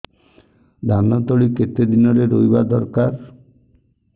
ଧାନ ତଳି କେତେ ଦିନରେ ରୋଈବା ଦରକାର